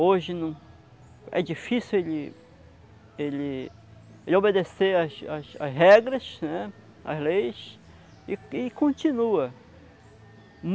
Hoje não, é difícil ele ele de obedecer as as as regras, né, as leis, e e continua.